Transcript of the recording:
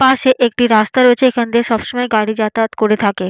পাশে একটি রাস্তা রয়েছে এখান দিয়ে সবসময় গাড়ি যাতায়াত করে থাকে।